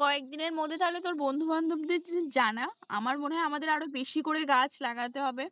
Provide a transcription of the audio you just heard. কয়েকদিনের মধ্যে তাহলে তোর বন্ধু বান্ধবদের জানা আমার মনে হয় আমাদের আরও বেশি করে গাছ লাগাতে হবে